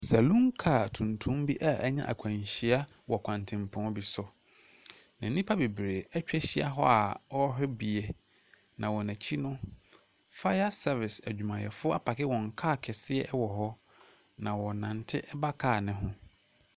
Salun kaa tuntum bi a anya akwanhyia wɔ kwantempɔn bi so, na nnipa bebree atwa ahyia hɔ a wɔrehwɛ bie, na wɔn akyi no, fire service adwumayɛfoɔ apake wɔn kaa kɛseɛ wɔ hɔ, na wɔrenante ba kaa no ho.